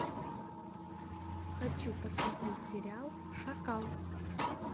хочу посмотреть сериал шакал